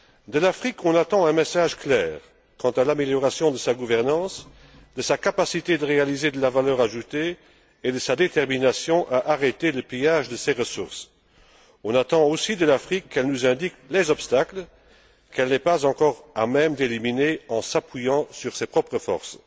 De l'Afrique, on attend un message clair quant à l'amélioration de sa gouvernance, de sa capacité de réaliser de la valeur ajoutée et de sa détermination à arrêter le pillage de ses ressources. On attend aussi de l'Afrique qu'elle nous indique les obstacles qu'elle n'est pas encore à même d'éliminer en s'appuyant sur ses propres forces.